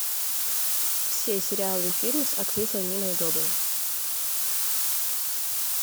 все сериалы и фильмы с актрисой ниной добрев